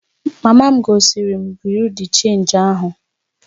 Mama m gosiri m Bị́yurị́ de Chénji ahụ